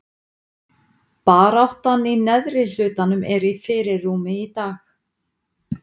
Baráttan í neðri hlutanum er í fyrirrúmi í dag.